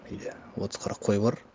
үйде отыз қырық қой бар